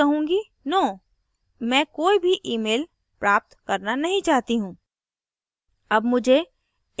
अतः मैं कहूँगी no मैं कोई भी emails प्राप्त करना नहीं चाहती हूँ